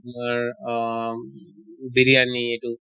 তোমাৰ অহ বিৰয়ানি এইটো